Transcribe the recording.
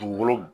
Dugukolo